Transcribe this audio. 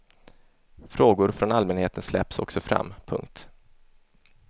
Frågor från allmänheten släpps också fram. punkt